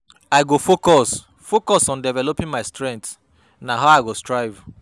I go focus focus on developing my strengths; na how I go thrive.